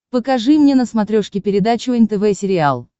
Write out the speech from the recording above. покажи мне на смотрешке передачу нтв сериал